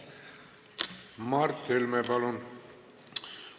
Mart Helme, palun!